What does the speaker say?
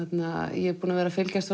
ég er búin að vera að fylgjast